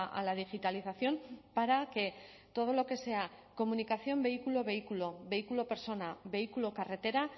a la digitalización para que todo lo que sea comunicación vehículo vehículo vehículo persona vehículo carretera